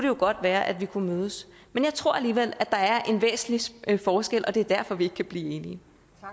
jo godt være at vi kunne mødes men jeg tror alligevel at der er en væsentlig forskel og at det er derfor vi ikke kan blive